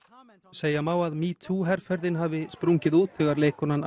segja má að metoo herferðin hafi sprungið út þegar leikkonan